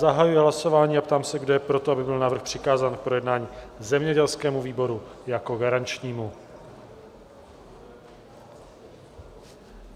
Zahajuji hlasování a ptám se, kdo je pro to, aby byl návrh přikázán k projednání zemědělskému výboru jako garančnímu?